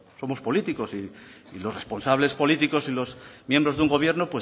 somos políticos y los responsables políticos y los miembros de un gobierno